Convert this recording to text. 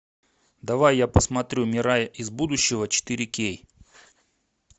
давай я посмотрю мирай из будущего четыре кей